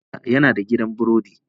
Mahaifina yana da gidan burodi.